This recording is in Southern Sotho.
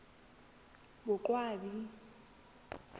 boqwabi